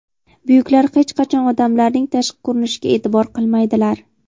Buyuklar hech qachon odamlarning tashqi ko‘rinishiga e’tibor qilmaydilar.